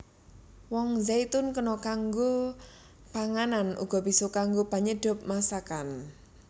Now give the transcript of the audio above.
Woh zaitun kena kanggo panganan uga bisa kanggo penyedhap masakan